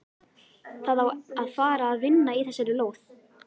Það á að fara að vinna í þessari lóð.